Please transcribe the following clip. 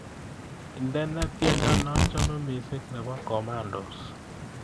Indene tyendo nachame mising nebo komandos